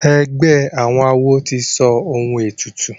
egbé àwọn àwo tí sọ òun ètùtù.